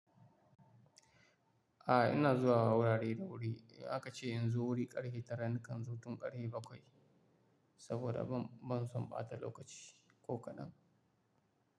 Ah ina zuwa wurare da wuri, in aka ce in zo wuri ƙarfe tara nakan zo tun ƙarhe bakwai saboda ban, ban son ɓata lokaci ko kaɗan.